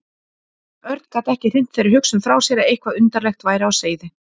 Örn gat ekki hrint þeirri hugsun frá sér að eitthvað undarlegt væri á seyði.